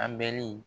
An bɛli